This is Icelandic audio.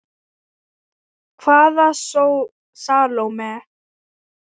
Hvaða Salóme?